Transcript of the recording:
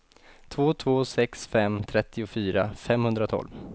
två två sex fem trettiofyra femhundratolv